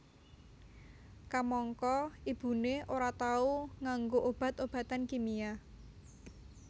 Kamangka ibuné ora tau nganggo obat obatan kimia